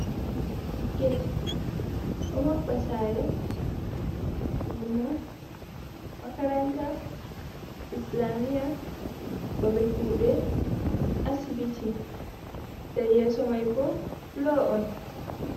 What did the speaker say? Get, ɗo maɓɓa sare, lumo, makaranta, islamiya, babe kuɗe, asibiti. Se yeso mai bo fulo on.